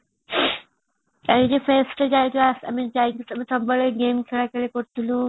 ଆମେ ସବୁବେଳେ game ଖେଳ ଖେଳି କରୁଥିଲୁ